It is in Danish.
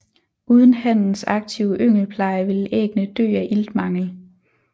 Uden hannens aktive yngelpleje ville æggene dø af iltmangel